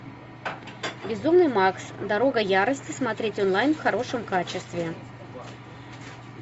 безумный макс дорога ярости смотреть онлайн в хорошем качестве